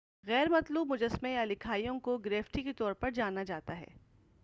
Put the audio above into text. غیرمطلوب مجسمے یا لکھائیوں کو گریفٹی کے طور پر جانا جاتا ہے